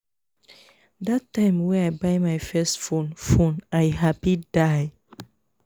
dat time wey i buy my first phone phone i happy die